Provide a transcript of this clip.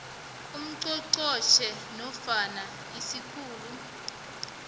ungqongqotjhe nofana isikhulu